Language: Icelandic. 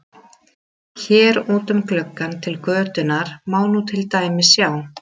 Hér út um gluggann til götunnar má nú til dæmis sjá